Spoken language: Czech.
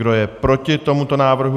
Kdo je proti tomuto návrhu?